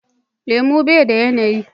Lemu bai da yanayi.